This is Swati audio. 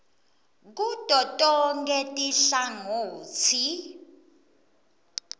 kuto tonkhe tinhlangotsi